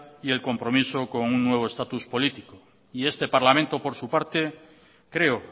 y el compromiso con un nuevo estatus político y este parlamento por su parte creo